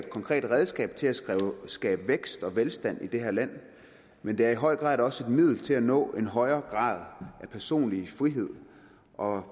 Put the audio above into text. konkret redskab til at skabe vækst og velstand i det her land men det er i høj grad også et middel til at nå en højere grad af personlig frihed og